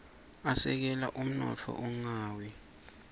asekela umnotfo ungawi